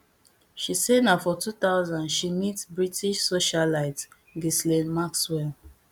she say na for two thousand she meet british socialite ghislaine maxwell